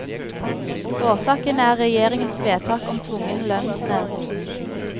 Årsaken er regjeringens vedtak om tvungen lønnsnevnd.